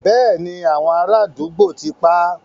Béèni, àwọn ará àdúgbò ti pá á.